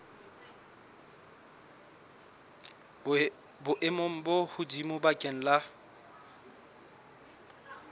boemong bo hodimo bakeng la